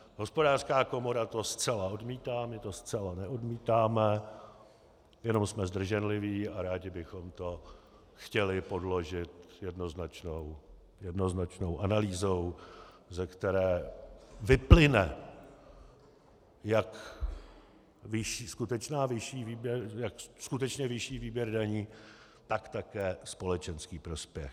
Hospodářská komora to zcela odmítá, my to zcela neodmítáme, jen jsme zdrženliví a rádi bychom to chtěli podložit jednoznačnou analýzou, ze které vyplyne jak skutečně vyšší výběr daní, tak také společenský prospěch.